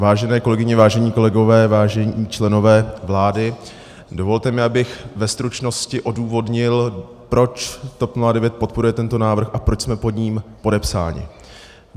Vážené kolegyně, vážení kolegové, vážení členové vlády, dovolte mi, abych ve stručnosti odůvodnil, proč TOP 09 podporuje tento návrh a proč jsme pod ním podepsáni.